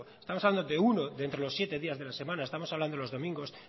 estamos hablando de uno de los siete días de la semana estamos hablando de los domingos